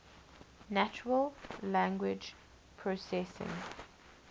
natural language processing